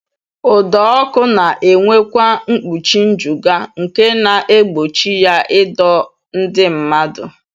Ụdọọkụ na-enwekwa mkpuchi njụga nke na-egbochi ya ịdọ ndị mmadụ